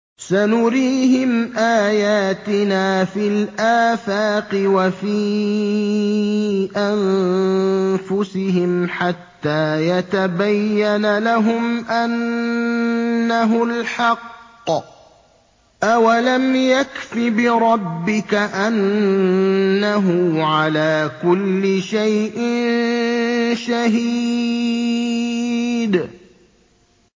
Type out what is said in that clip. سَنُرِيهِمْ آيَاتِنَا فِي الْآفَاقِ وَفِي أَنفُسِهِمْ حَتَّىٰ يَتَبَيَّنَ لَهُمْ أَنَّهُ الْحَقُّ ۗ أَوَلَمْ يَكْفِ بِرَبِّكَ أَنَّهُ عَلَىٰ كُلِّ شَيْءٍ شَهِيدٌ